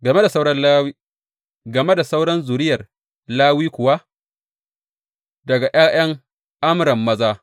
Sauran Lawiyawa Game da sauran zuriyar Lawi kuwa, Daga ’ya’yan Amram maza.